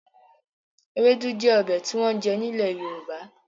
Ewédú jẹ́ ọbẹ̀ tí wọ́n ń jẹ ní ilè Yorùbá